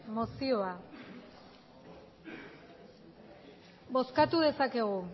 mozioa bozkatu dezakegu